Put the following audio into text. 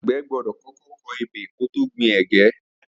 Agbẹ̀ gbọdọ kọkọ kọ ébé kó tó gbin ẹ̀gè